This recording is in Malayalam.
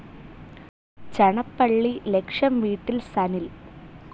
ചണപ്പള്ളി ലക്ഷം വീട്ടിൽ സനിൽ